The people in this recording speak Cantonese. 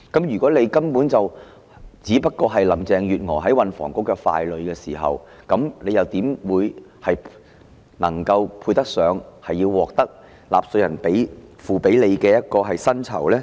如果局長只是林鄭月娥在運房局的傀儡，又怎配得上收取納稅人支付給他的薪酬呢？